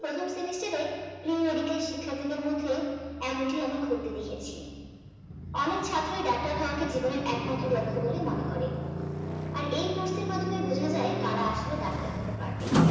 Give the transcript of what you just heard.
Semester এ pre medical শিক্ষার্থী দের মধ্যে এমনটি আমি ঘটতে দেখেছি। অনেক ছাত্রই ডাক্তার হওয়াকে জীবনের একমাত্র লক্ষ্য বলে মনে করে আর এই course টির মাধ্যমে বোঝা যায় কারা আসলে ডাক্তার হতে পারবে